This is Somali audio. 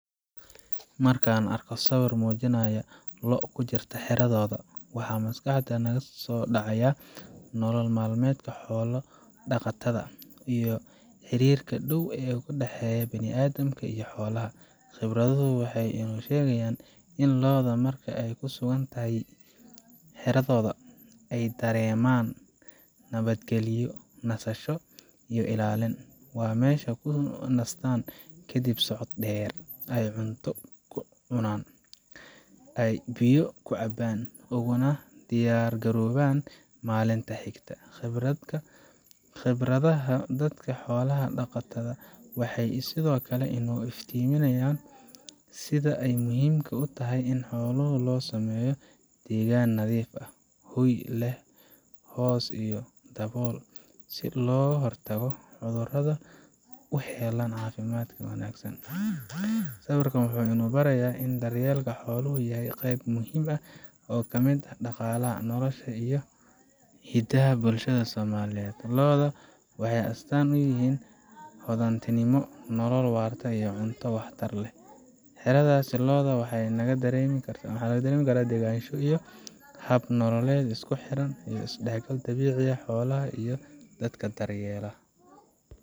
Markaan aragno sawir muujinaya lo’ ku jirta xeradooda, waxaa maskaxda naga soo dhacaya nolol maalmeedka xoolo-dhaqatada iyo xiriirka dhow ee ka dhexeeya bini’aadamka iyo xoolaha. Khibraddu waxay inoo sheegeysaa in lo’da, marka ay ku sugan yihiin xeradooda, ay dareemaan nabadgalyo, nasasho, iyo ilaalin. Waa meesha ay ku nastaan kadib socod dheer, ay cunto ku cunaan, ay biyo ka cabaan, uguna diyaargaroobaan maalinta xigta. Khibradda dadka xoolaha dhaqda waxay sidoo kale inoo iftiiminayaan sida ay muhiimka u tahay in xoolaha loo sameeyo deegaan nadiif ah, hoy leh hoos iyo dabool, si looga hortago cudurrada una helaan caafimaad wanaagsan. Sawirka waxa uu na barayaa in daryeelka xooluhu yahay qayb muhiim ah oo ka mid ah dhaqaalaha, nolosha, iyo hidaha bulshada Soomaaliyeed. Lo’da waxay astaan u yihiin hodantinimo, nolol waarta, iyo cunto waxtar leh. Xeradaasi lo’da waxaa laga dareemi karaa degganaansho iyo hab nololeed isku xiran oo u dhexeeya dabiicadda, xoolaha, iyo dadka daryeelaya.